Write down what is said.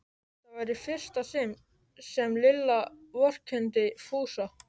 Þetta var í fyrsta sinn sem Lilla vorkenndi Fúsa.